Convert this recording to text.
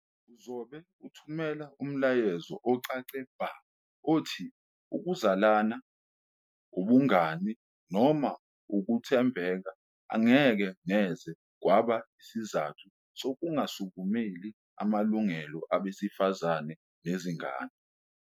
Uzobe uthumela umyalezo ocace bha othi ukuzalana, ubungani noma ukuthembeka angeke neze kwaba isizathu sokungasukumeli amalungelo abesifazane nezingane.